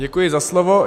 Děkuji za slovo.